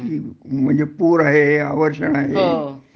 म्हणजे पूर आहे आवर्षण आहे